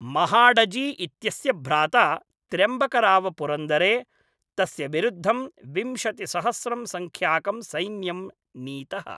महाडजी इत्यस्य भ्राता त्र्यम्बकराव पुरन्दरे, तस्य विरुद्धं विंशतिसहस्रं सङ्ख्याकं सैन्यं नीतः।